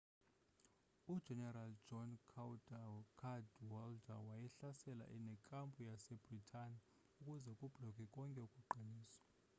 ujenerali john cadwalder wayehlasela nekampu yase-bhritane ukuze kublokwe konke ukuqiniswa